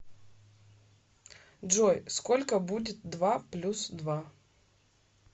джой сколько будет два плюс два